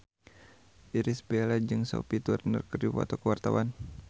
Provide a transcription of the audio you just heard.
Irish Bella jeung Sophie Turner keur dipoto ku wartawan